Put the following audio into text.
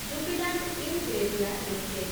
Jubilant Ingrevia limited